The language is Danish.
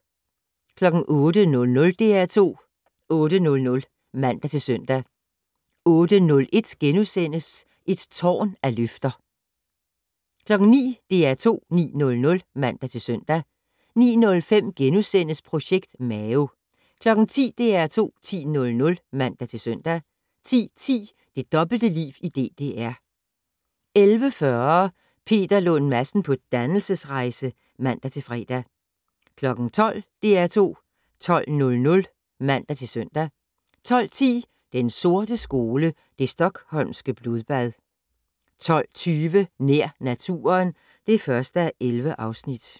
08:00: DR2 8:00 (man-søn) 08:01: Et tårn af løfter * 09:00: DR2 9:00 (man-søn) 09:05: Projekt Mao * 10:00: DR2 10:00 (man-søn) 10:10: Det dobbelte liv i DDR 11:40: Peter Lund Madsen på dannelsesrejse (man-fre) 12:00: DR2 12:00 (man-søn) 12:10: Den sorte skole: Det Stockholmske blodbad 12:20: Nær naturen (1:11)